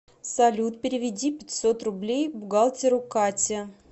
салют переведи пятьсот рублей бухгалтеру кате